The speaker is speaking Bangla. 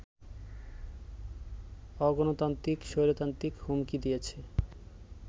অগণতান্ত্রিক-স্বৈরতান্ত্রিক হুমকি দিয়েছে